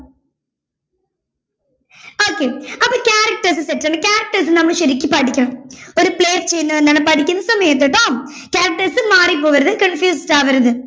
okay അപ്പോ characters set ആണ് characters നമ്മൾ ശരിക്കും പഠിക്കണം ഒരു play പഠിക്കുന്ന സമയത്ത് ട്ടോ characters മാറിപൊവരുത് confused ആവരുത്